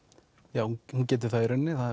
já hún getur það í rauninni það